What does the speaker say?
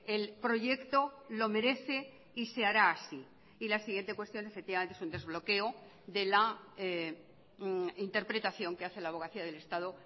el proyecto lo merece y se hará así y la siguiente cuestión efectivamente es un desbloqueo de la interpretación que hace la abogacía del estado